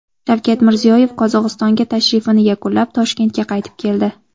Shavkat Mirziyoyev Qozog‘istonga tashrifini yakunlab, Toshkentga qaytib keldi.